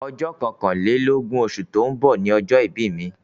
Ọjọ́ kọkànlélógún osù tó ń bọ̀ ni ọjọ́ ìbí mi